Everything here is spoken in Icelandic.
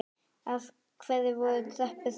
Af hverju voru tröppur þarna?